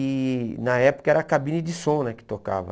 E na época era a cabine de som né que tocava.